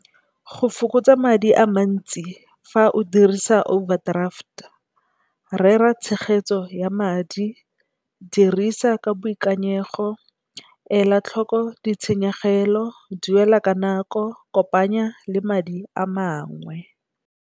Go fokotsa madi a mantsi fa o dirisa overdraft rera tshegetso ya madi, dirisa ka boikanyego, ela tlhoko ditshenyegelo, duela ka nako, kopanya le madi a mangwe.